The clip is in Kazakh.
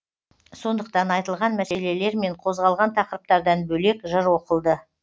сондықтан айтылған мәселелер мен қозғалған тақырыптардан бөлек жыр оқылды